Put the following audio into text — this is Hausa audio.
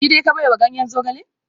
Jide ka baiwa ganyen zogale?